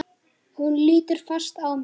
Hún lítur fast á mig.